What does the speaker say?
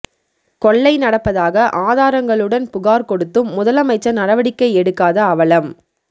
கொள்ளை நடப்பதாக ஆதாரங்களுடன் புகார் கொடுத்தும் முதலமைச்சர் நடவடிக்கை எடுக்காத அவலம்